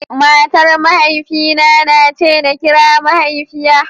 Matar Mahaifina ta nace nakira mahaifiya.